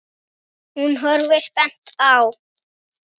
Hún horfir spennt á.